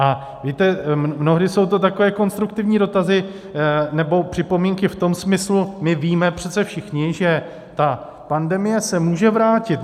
A víte, mnohdy jsou to takové konstruktivní dotazy nebo připomínky v tom smyslu, my víme přece všichni, že ta pandemie se může vrátit.